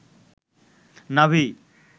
নাভি